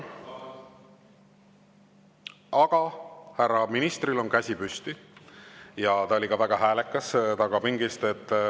Aga härra ministril on käsi püsti ja ta oli ka väga häälekas seal tagapingis.